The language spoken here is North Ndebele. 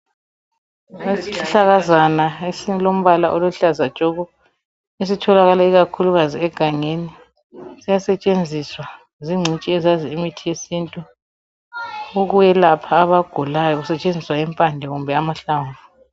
Isihlahlakazana esilamahlamvu aluhlaza tshoko siyasetshenziswa zingcitshi zesintu ukuyelapha besebenzisa amahlamvu kumbe impande